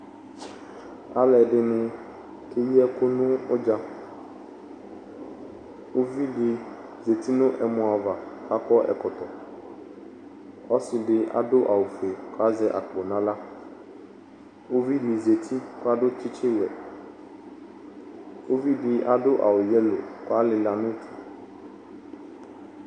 Alu ɛdini keyi ɛkʋ nʋ udzaUvidi zati nʋ ɛmɔ'ava kakɔ ɛkɔtɔ Ɔsidi adʋ awu fue kazɛ akpo naɣlaUvi di zati kadʋ tsitsi wɛUvi di adʋ awu yelo kʋ alila nʋ